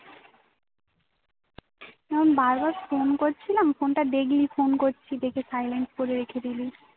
যখন বার বার phone করলছিলাম phone টা দেখলি phone করছি দেখে silent করে রেখে দিলি